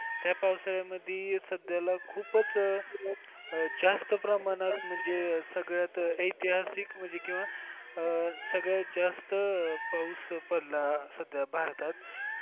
त्या पावसाळ्या मध्ये सध्याला खूपच जास्त प्रमाणात म्हणजे सगळ्यात ऐतिहासिक म्हणजे किंवा सगळ्यात जास्त पाऊस पडला सध्या भारतात.